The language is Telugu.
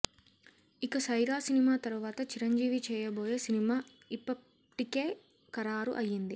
ఇక సైరా సినిమా తర్వాత చిరంజీవి చేయబోయే సినిమా ఇపప్టికే ఖరారు అయ్యింది